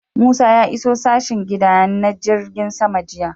Musa ya iso sashen gida na jirgin sama jiya